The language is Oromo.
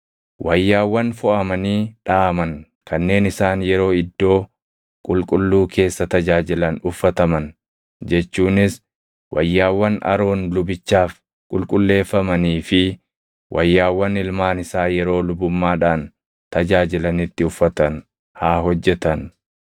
wayyaawwan foʼamanii dhaʼaman kanneen isaan yeroo iddoo qulqulluu keessa tajaajilan uffataman jechuunis wayyaawwan Aroon lubichaaf qulqulleeffamanii fi wayyaawwan ilmaan isaa yeroo lubummaadhaan tajaajilanitti uffatan haa hojjetan.”